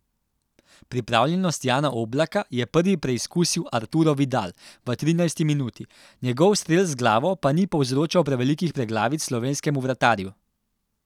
Pripravljenost Jana Oblaka je prvi preizkusil Arturo Vidal v trinajsti minuti, njegov strel z glavo pa ni povzročal prevelikih preglavic slovenskemu vratarju.